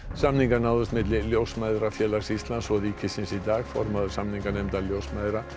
samningar náðust milli Ljósmæðrafélags Íslands og ríkisins í dag formaður samninganefndar ljósmæðra